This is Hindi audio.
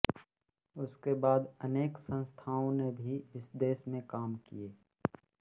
उसके बाद अनेक अन्य संस्थाओं ने भी इस दिशा में काम किए